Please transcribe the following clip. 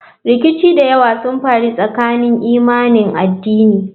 Rikici da yawa sun faru tsakanin imanin addini.